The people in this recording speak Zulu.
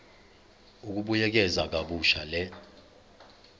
ukubuyekeza kabusha le